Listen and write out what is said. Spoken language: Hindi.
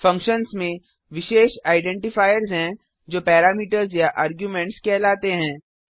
फंक्शन्स में विशेष आइडेंटिफायर्स हैं जो पैरामीटर्स या आर्गुमेंट्स कहलाते हैं